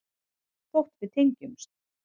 Þótt við tengjumst.